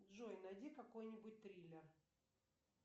джой найди какой нибудь триллер